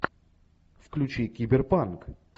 включи киберпанк